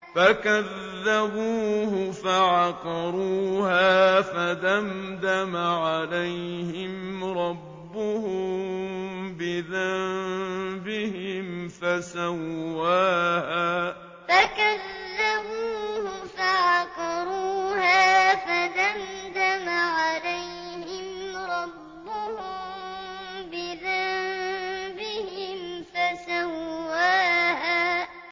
فَكَذَّبُوهُ فَعَقَرُوهَا فَدَمْدَمَ عَلَيْهِمْ رَبُّهُم بِذَنبِهِمْ فَسَوَّاهَا فَكَذَّبُوهُ فَعَقَرُوهَا فَدَمْدَمَ عَلَيْهِمْ رَبُّهُم بِذَنبِهِمْ فَسَوَّاهَا